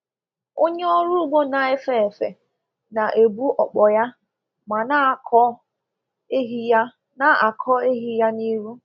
Onye ọrụ ugbo na-efe efe na-ebu ọkpọ ya ma na-akọ ehi ya na-akọ ehi ya n’ihu.